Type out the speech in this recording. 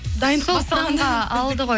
сол құрамға алды ғой